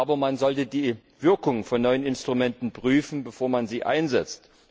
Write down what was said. Aber man sollte die Wirkung von neuen Instrumenten prüfen, bevor man sie einsetzt.